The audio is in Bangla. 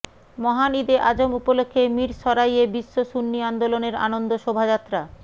মহান ঈদে আজম উপলক্ষ্যে মীরসরাইয়ে বিশ্ব সুন্নী আন্দোলনের আনন্দ শোভাযাত্রা